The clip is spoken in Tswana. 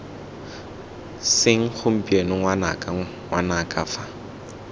seng gompieno ngwanaka ngwanaka fa